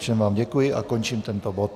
Všem vám děkuji a končím tento bod.